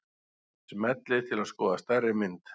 Smellið til að skoða stærri mynd.